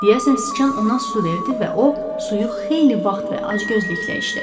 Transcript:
Deyəsən, siçan ona su verdi və o suyu xeyli vaxt və acgözlüklə içdi.